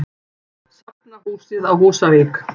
Safnahúsið á Húsavík.